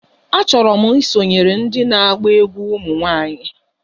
Achọrọ m isonyere ndị na-agba egwú ụmụ nwanyị